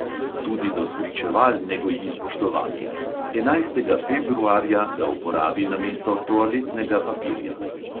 Tudi do spričeval ne goji spoštovanja: enajstega februarja ga uporabi namesto toaletnega papirja.